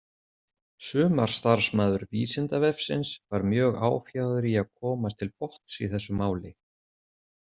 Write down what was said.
Sumarstarfsmaður Vísindavefsins var mjög áfjáður í að komast til botns í þessu máli.